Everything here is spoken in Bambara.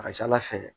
A ka ca ala fɛ